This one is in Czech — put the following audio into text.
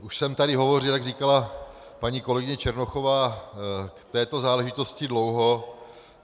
Už jsem tady hovořil, jak říkala paní kolegyně Černochová, k této záležitosti dlouho.